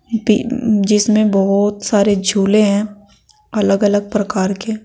जिसमें बहोत सारे झूले हैं अलग अलग प्रकार के।